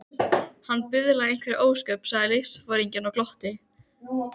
Síðla næsta dag kom fylkingin að Eiríksstöðum.